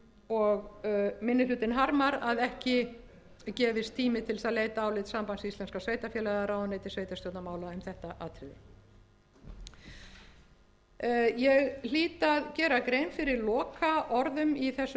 og minni hlutinn harmar að ekki gefist tími til þess að leita álits sambands íslenskra sveitarfélaga eða ráðuneytis sveitarstjórnarmála um þetta atriði ég hlýt að gera grein fyrir lokaorðum í þessu